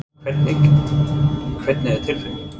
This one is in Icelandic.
Hvernig, hvernig er tilfinningin?